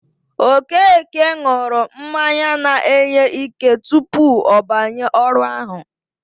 Okeke ṅụrụ mmanya na-enye ike tupu ọ banye ọrụ ahụ.